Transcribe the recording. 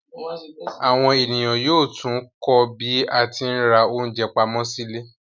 Àwọn ènìyàn yóò tún kọ́ bí a tí ń ra oúnjẹ pamọ́ sí ilé